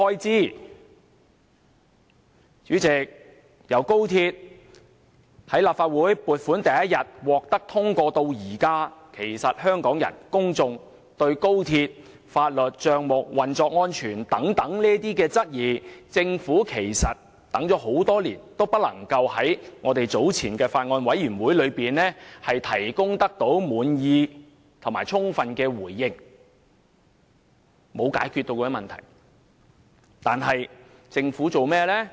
主席，由立法會通過高鐵撥款的第一天至今，香港人一直對於有關高鐵的法律、帳目和運作安全等，表示質疑，政府多年來也無法在不同場合，包括法案委員會上，作出充分而令人滿意的回應，問題依然未獲解決。